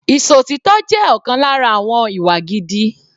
Ìṣòtítọ́ jẹ́ ọ̀kan lára àwọn ìwà gidi.